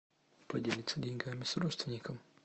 поделиться деньгами с родственником